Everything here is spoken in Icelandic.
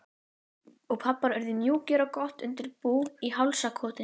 Og pabbar urðu mjúkir og gott undir bú í hálsakotinu.